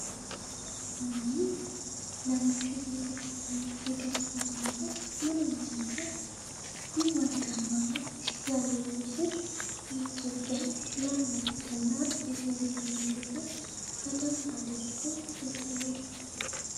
ወይኔ! ለመከር የበሰለ የገብስ አዝመራ ምንኛ ያምራል! ይህ ወርቃማ መልክ ያለው ዕህል የኢትዮጵያን ለም መሬትና የገበሬውን ልፋት በደንብ አድርጎ ያሳያል!